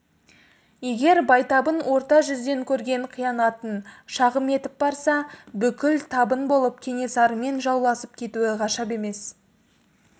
егер байтабын орта жүзден көрген қиянатын шағым етіп барса бүкіл табын болып кенесарымен жауласып кетуі ғажап емес